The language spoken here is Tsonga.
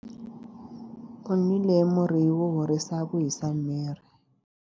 U nwile murhi wo horisa ku hisa miri.